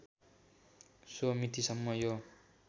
so मितिसम्म यो